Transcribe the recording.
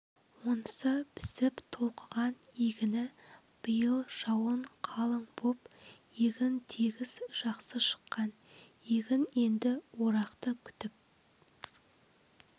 онысы пісіп толқыған егіні биыл жауын қалың боп егін тегіс жақсы шыққан егін енді орақты күтіп